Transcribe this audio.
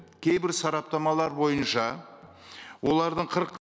кейбір сараптамалар бойынша олардың қырық